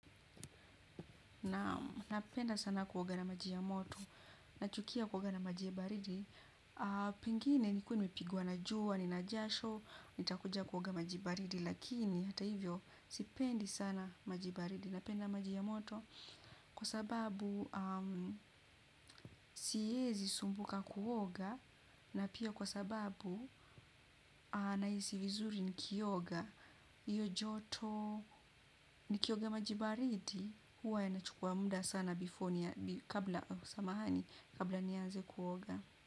Naam napenda sana kuoga na maji ya moto. Nachukia kuoga na maji baridi. Pengine nimekuwa nimepigwa na jua, ninajasho nitakuja kuoga maji baridi. Lakini hata hivyo sipendi sana maji baridi. Napenda maji ya moto. Kwa sababu sihezi sumbuka kuoga. Na pia kwa sababu na hisi vizuri nikioga. Iyo joto nikioga maji baridi huwa inachukuwa mda sana kabla samahani kabla niaze kuoga.